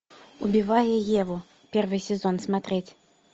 убивая еву первый сезон смотреть